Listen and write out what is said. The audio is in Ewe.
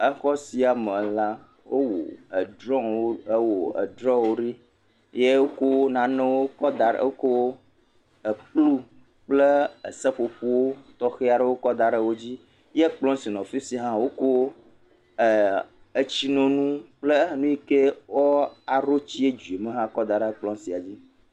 Exɔ sia me la, wowɔ edrɔ̃.. edrɔ̃wo ɖi ye wokɔ nanewo kɔ da wokɔ ekplu kple seƒoƒo tɔxɛ aɖe kɔ da ɖe wo dzi. Kplɔ si le afi sia hã wokɔ eee. Etsinonu kple nu si me wo ɖoa tsi dzo le la hã da ɖe edzi.